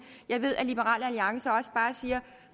jeg ved at liberal alliance også siger